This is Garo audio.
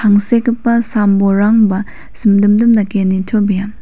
tangsekgipa sambolrangba simdimdim dake nitobea.